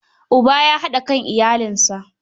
Uba ya haɗa kan iyalinsa.